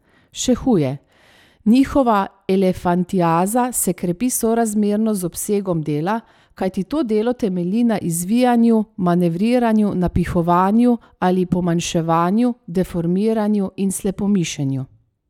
Še huje, njihova elefantiaza se krepi sorazmerno z obsegom dela, kajti to delo temelji na izvijanju, manevriranju, napihovanju ali pomanjševanju, deformiranju in slepomišenju.